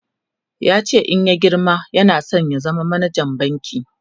yace in ya girma yana San ya zama manajan banki